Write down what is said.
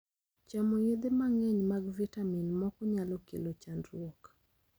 Chamo yethe mang�eny mag vitamin moko nyalo kelo chandruok.